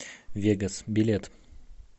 вегас билет